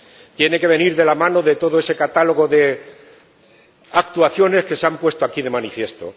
Tiene que venir de la mano de todo ese catálogo de actuaciones que se han puesto aquí de manifiesto.